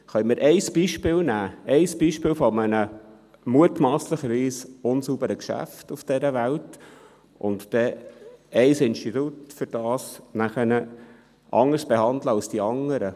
Können wir ein Beispiel nehmen, ein Beispiel eines mutmasslich unsauberen Geschäfts auf dieser Welt, und dann deshalb ein Institut anders behandeln als die anderen?